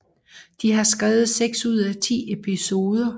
De har skrevet seks ud af ti episoder